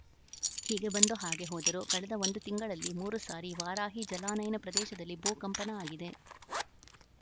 ಹೀಗೆ ಬಂದು ಹಾಗೆ ಹೋದರು ಕಳೆದ ಒಂದು ತಿಂಗಳಲ್ಲಿ ಸಾರಿ ವಾರಾಹಿ ಜಲಾನಯನ ಪ್ರದೇಶದಲ್ಲಿ ಭೂ ಕಂಪನ ಆಗಿದೆ